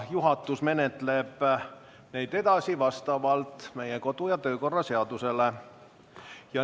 Juhatus menetleb neid vastavalt meie kodu- ja töökorra seadusele.